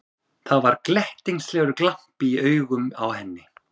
Það var glettnislegur glampi í augunum á henni.